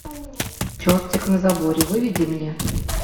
чертик на заборе выведи мне